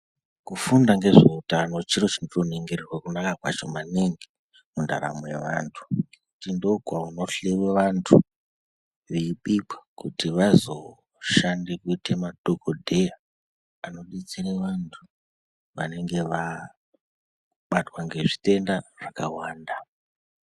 Kugunda ngezveutano chiro chinotoningirirwe kunaka kwacho maningi mundaramo yevantu kuti ndokunohloyiwe vantu veibikwankuti vazoshande kuite madhokodheya anodetsere vantu vanenge vabatwa ngezvitenda zvakawanda.